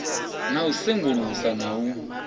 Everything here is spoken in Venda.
na u sengulusa na u